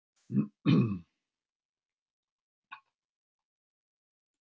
Gögnin verði jafnframt gerð opinber